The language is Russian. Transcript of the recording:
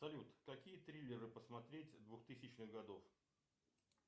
салют какие триллеры посмотреть двухтысячных годов